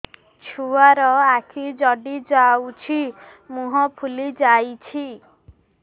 ଛୁଆର ଆଖି ଜଡ଼ି ଯାଉଛି ମୁହଁ ଫୁଲି ଯାଇଛି